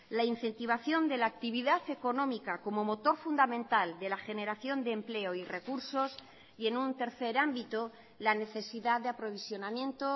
la incentivación de la actividad económica como motor fundamental de la generación de empleo y recursos y en un tercer ámbito la necesidad de aprovisionamiento